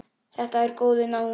Þetta er góður náungi.